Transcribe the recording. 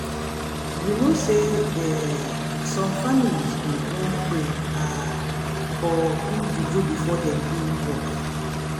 you know say eeh some families go wan pray ah or do juju before dem do work.